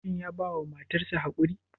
Shin ya bawa matar sa haƙuri?